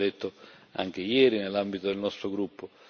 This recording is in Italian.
Lo abbiamo detto anche ieri nell'ambito del nostro gruppo.